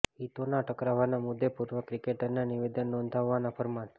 હિતોના ટકરાવના મુદ્દે પૂર્વે ક્રિકેટરને નિવેદન નોંધાવવા ફરમાન